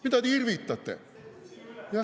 Mida te irvitate?!